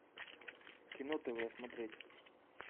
кино тв смотреть